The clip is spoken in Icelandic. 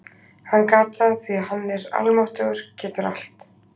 Hann gat það því hann er almáttugur- getur allt.